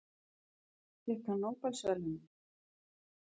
Fékk hann nóbelsverðlaunin?